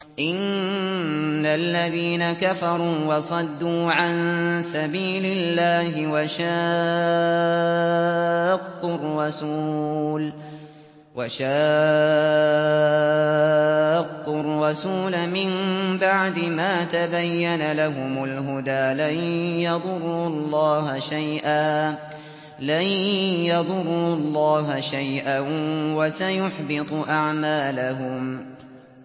إِنَّ الَّذِينَ كَفَرُوا وَصَدُّوا عَن سَبِيلِ اللَّهِ وَشَاقُّوا الرَّسُولَ مِن بَعْدِ مَا تَبَيَّنَ لَهُمُ الْهُدَىٰ لَن يَضُرُّوا اللَّهَ شَيْئًا وَسَيُحْبِطُ أَعْمَالَهُمْ